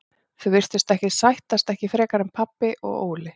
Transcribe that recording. Þau virtust ekkert vilja sættast, ekki frekar en pabbi og Óli.